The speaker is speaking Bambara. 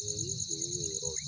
Mɛ ni geni ye yɔrɔ